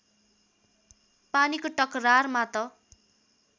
पानीको टकरारमा त